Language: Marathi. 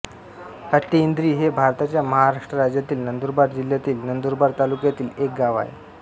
हट्टीइंद्री हे भारताच्या महाराष्ट्र राज्यातील नंदुरबार जिल्ह्यातील नंदुरबार तालुक्यातील एक गाव आहे